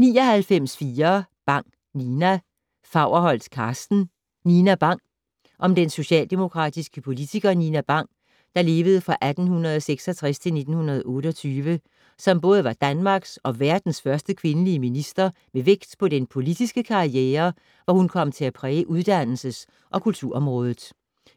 99.4 Bang, Nina Faurholt, Karsten: Nina Bang Om den socialdemokratiske politiker Nina Bang (1866-1928), som både var Danmarks og verdens første kvindelige minister, med vægt på den politiske karriere, hvor hun kom til at præge uddannelses- og kulturområdet.